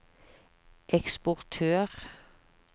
eksportør